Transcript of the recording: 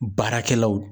Baarakɛlaw